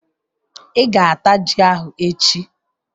Ị ga-ata ji ahụ echi